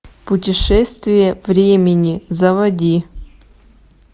путешествие времени заводи